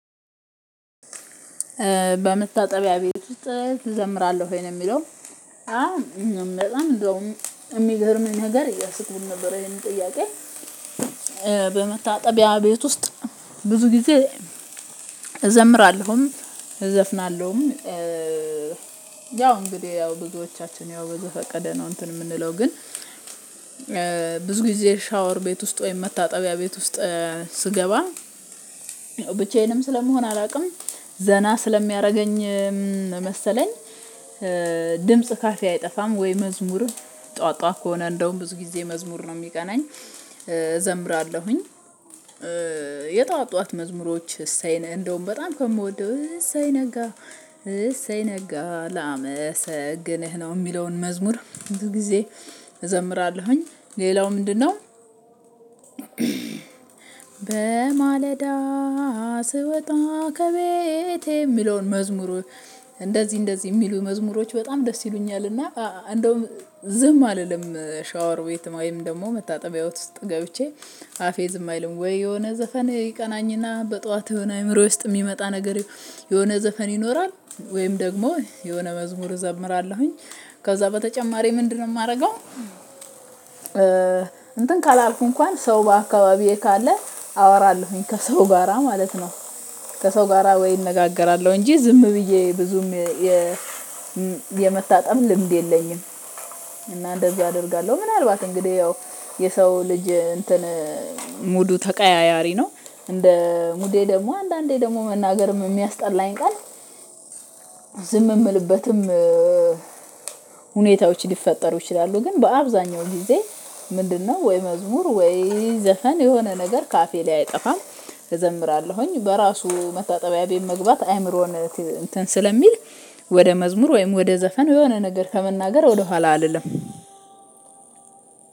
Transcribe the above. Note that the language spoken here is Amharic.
በመታጠቢያ ቤት ውስጥ እዘምራለሁ ወይ ነው የሚለው አም በጣም እንደውም የሚገርም ነገር እያሰቡ ነበር ይሄንን ጥያቄ በመታጠቢያ ቤት ውስጥ ብዙ ጊዜ እዘምራለሁም እዘፍናለሁም ያው እንግዲህ ያው ብዙዎቻችን ያው በዘፈቀደ ነው እንትን የምንለው ግን ብዙ ጊዜ ሻወር ቤት ውስጥ ወይም መታጠቢያ ቤት ውስጥ ስገባ ብቻዬንም ስለምሆን አላውቅም ዘና ስለሚያደርገኝ መሰለኝ ድምጽ ካፌ አይጠፋም ወይ መዝሙርን ጠዋት ጠዋት ከሆነ እንደውም ብዙ ጊዜ መዝሙር ነው የሚቀናኝ እዘምራለሁኝ የጠዋት ጠዋት መዝሙሮች እሰይ ነህ እንደውም በጣም ከምወደው እሰይ ነጋ እሰይ ነጋ ላመሰግነህ ነው የሚለውን መዝሙር ብዙ ግዜ እዘምራለሁኝ ሌላው ምንድነው በማለዳ ስወጣ ከቤቴ የሚለውን መዝሙሩ እንደዚህ እንደዚህ የሚሉ መዝሙሮች በጣም ደስ ይሉኛል። እና እንደውም ዝም አልልም ሻወር ቤት ወይም ደግሞ መታጠቢያ ቤት ውስጥ ገብቼ አፌ ዝም አይልም ወይ የሆነ ዘፈን ይቀናኝና በጧት የሆነ አእምሮ ውስጥ የሚመጣ ነገር የሆነ ዘፈን ይኖራል ወይም ደግሞ የሆነ መዝሙር እዘምራለሁኝ ከዛ በተጨማሪ ምንድነው የማደርገው እንትን ካላልኩ እንኳን ሰው በአካባቢዬ ካለ አወራለሁኝ ከሰው ጋራ ማለት ነው ከሰው ጋራ ወይ እነጋገራለሁ እንጂ ዝም ብዬ ብዙም የመታጠብ ልምድ የለኝም እና እንደዛ አደርጋለሁ። ምናልባት እንግዲህ ያው የሰው ልጅ እንትን ሙዱ ተቀያያሪ ነው እንደ ሙዴ ደግሞ አንዳንዴ ደግሞ መናገርም የሚያስጠላኝ ቃል ዝም የምልበትም ሁኔታዎች ሊፈጠሩ ይችላሉ ግን በአብዛኛው ጊዜ ምንድነው ወይ መዝሙር ወይ ዘፈን የሆነ ነገር ካፌ ላይ አይጠፋም እዘምራለሁኝ። በራሱ መታጠቢያ ቤት መግባት አይምሮን እንትን ስለሚል ወደ መዝሙር ወይም ወደ ዘፈን የሆነ ነገር ከመናገር ወደ ኋላ አልልም